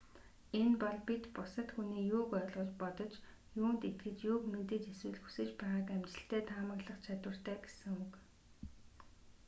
энэ бол бид бусад хүний юуг ойлгож бодож юунд итгэж юуг мэдэж эсвэл хүсэж байгааг амжилттай таамаглах чадвартай гэсэн үг